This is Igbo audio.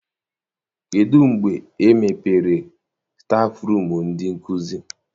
Kedụ mgbe e mepere stafụrum ndị nkụzi?